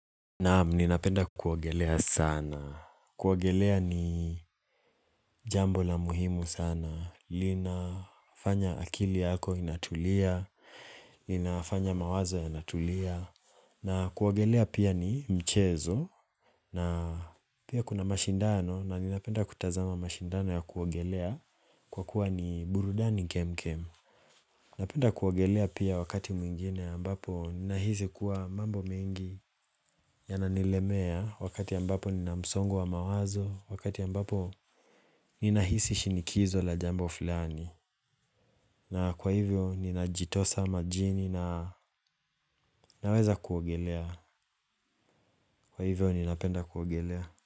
Naam ninapenda kuogelea sana. Kuogelea ni jambo la muhimu sana. Linafanya akili yako inatulia. Linafanya mawazo yanatulia. Na kuwagelea pia ni mchezo. Na pia kuna mashindano na ninapenda kutazama mashindano ya kuogelea kwa kuwa ni burudani kemkem. Napenda kuogelea pia wakati mwingine ambapo ninahisi kuwa mambo mingi ya nanilemea wakati ambapo ninamsongo wa mawazo, wakati ambapo ninahisi shinikizo la jambo filani. Na kwa hivyo ninajitosa majini na naweza kuogelea. Kwa hivyo ninapenda kuogelea.